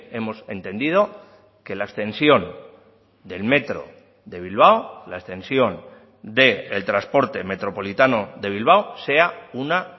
hemos entendido que la extensión del metro de bilbao la extensión del transporte metropolitano de bilbao sea una